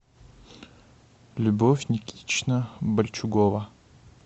любовь никитична больчугова